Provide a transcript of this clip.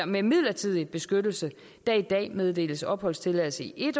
med midlertidig beskyttelse der i dag meddeles opholdstilladelse i